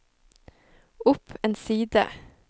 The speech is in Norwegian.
opp en side